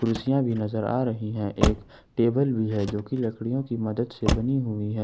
कुर्सियां भी नजर आ रही है एक टेबल भी है जो की लकड़ियों की मदद से बनी हुई है।